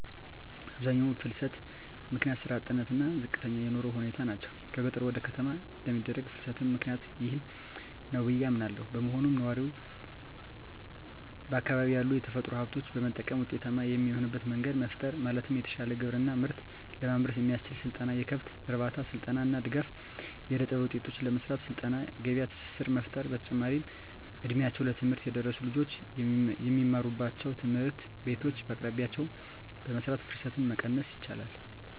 የአብዛኛው ፍልሰት ምክንያት ስራ አጥነት እና ዝቅተኛ የኑሮ ሁኔታ ናቸው። ከገጠር ወደ ከተማ ለሚደረግ ፍልስትም ምክኒያቱ ይህ ነው ብዬ አምናለው። በመሆኑም ነዋሪው በአካባቢው ያሉ የተፈጥሮ ሀብቶችን በመጠቀም ውጤታማ የሚሆንበት መንገድ መፍጠር ማለትም የተሻለ ግብርና ምርት ለማምረት የሚያስችል ስልጠና፣ የከብት እርባታ ስልጠና እና ድጋፍ. ፣ የእደጥበብ ውጤቶችን ለመሰራት ስልጠና የገበያ ትስስር መፍጠር። በተጨማሪም እ ድሜያቸው ለትምህርት የደረሱ ልጆች የሚማሩባቸውን ትምህርት ቤቶች በየአቅራቢያቸው በመስራት ፍልሰትን መቀነስ ይቻላል።